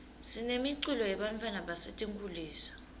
sinemiculo yebantfwana basetinkulisa